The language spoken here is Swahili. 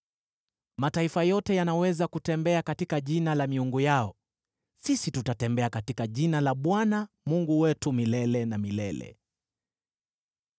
Mataifa yote yanaweza kutembea katika jina la miungu yao; sisi tutatembea katika jina la Bwana Mungu wetu milele na milele.